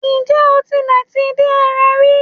Ǹjẹ́ o tilẹ̀ ti dín eran rí?